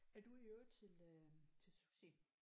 Er du i øvrigt til øh til sushi?